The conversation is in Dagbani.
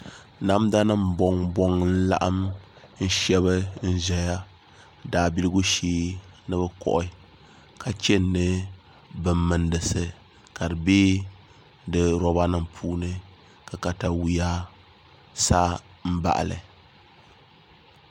Namda nim bɔŋ bɔŋ n laɣam n shɛbi n ʒɛya daabiligu shee ni bi kohi ka chɛni ni bin mindisi ka di bɛ di roba nim puuni ka katawiya sa n baɣali